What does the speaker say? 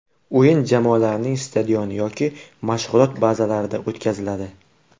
O‘yin jamoalarning stadioni yoki mashg‘ulot bazalarida o‘tkaziladi.